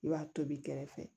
I b'a tobi kɛrɛfɛ